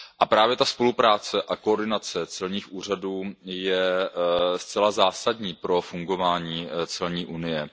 Právě ta spolupráce a koordinace celních úřadů je zcela zásadní pro fungování celní unie.